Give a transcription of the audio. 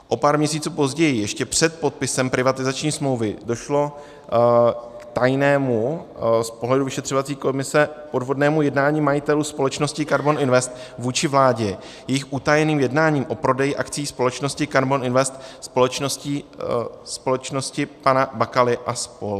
O pár měsíců později, ještě před podpisem privatizační smlouvy, došlo k tajnému, z pohledu vyšetřovací komise podvodnému jednání majitelů společnosti KARBON INVEST vůči vládě jejich utajeným jednáním o prodeji akcií společnosti KARBON INVEST společnosti pana Bakaly a spol.